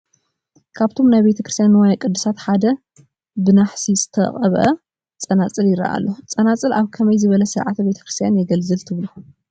ካብቶም ናይ ቤተ ክርስትያን ንዋየ ቅድሳት ሓደ ብናሓስ ዝተቐበአ ፀናፅል ይረአ ኣሎ፡፡ ፀናፅል ኣብ ከመይ ዝበለ ስርዓተ ቤተ ክርስትያን የገልግል ትብሉ?